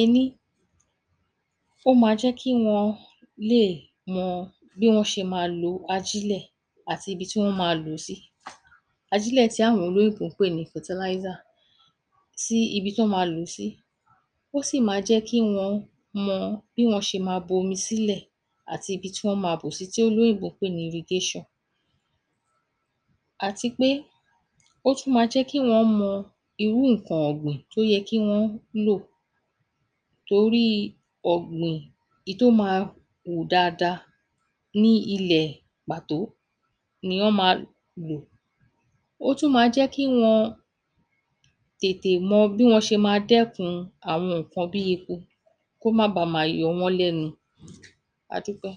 Ení: ó ma jẹ́ kí wọn lè mọ bí wọ́n ṣe ma lo ajílẹ̀ àti ibi tí wọ́n ma lò ó sí. Ajílẹ̀ tí àwọn olóyìnbó ń pè ní fataláísà tí ibi tán an ma lò ó sí. Ó sì ma jẹ́ kí wọn mọ bí wọ́n ṣe ma sílẹ̀ àti àti ibi tí wọ́n ma bò sí tí olóyìnbó ń pè ní irigéṣàn. Àtipé, ó tún ma jẹ́ kí wọ́n mọ irú nǹkan ọ̀gbìn tó yẹ kí wọ́n lò toríi ọ̀gbìn ìí tó ma wù dada ní ilẹ̀ pàtó nìyán ma lò. Ó tún ma jẹ́ kí wọn tètè mọ bí wọ́n ṣe ma dẹ́kun àwọn nǹkan bíi eku kó má ba ma yọ wọ́n lẹ́nu. A dúpẹ́.